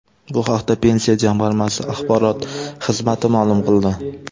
Bu haqda Pensiya jamg‘armasi axborot xizmati ma’lum qildi .